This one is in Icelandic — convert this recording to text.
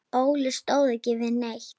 Óli stóð ekki við neitt.